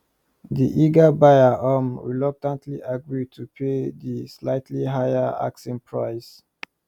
di eager buyer um reluctantly agree to pay di slightly higher asking price